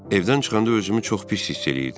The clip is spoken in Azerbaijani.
Evdən çıxanda özümü çox pis hiss eləyirdim.